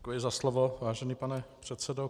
Děkuji za slovo, vážený pane předsedo.